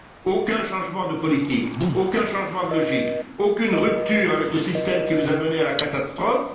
Aucun changement de politique, aucun changement de logique, aucune rupture avec le système qui nous a menés à la catastrophe!